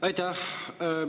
Aitäh!